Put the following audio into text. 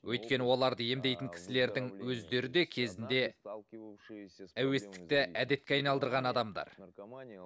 өйткені оларды емдейтін кісілердің өздері де кезінде әуестікті әдетке айналдырған адамдар